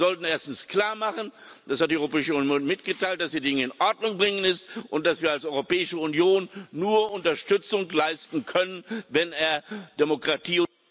Wir sollten erstens klarmachen das hat die Europäische Union mitgeteilt dass die Dinge in Ordnung zu bringen sind und dass wir als Europäische Union nur Unterstützung leisten können, wenn er Demokratie